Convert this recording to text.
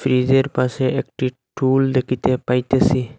ফ্রিজের পাশে একটি টুল দেখিতে পাইতেছি।